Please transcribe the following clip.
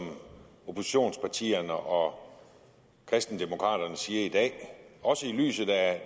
oppositionspartierne og kristendemokraterne siger i dag også i lyset af